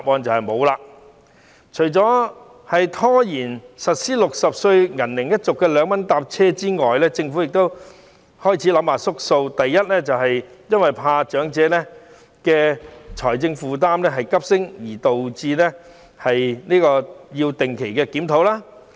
這除了是拖延實施60歲銀齡一族的2元乘車優惠措施外，政府亦開始退縮，可能是怕長者優惠措施令財政負擔急升而導致要定期檢討。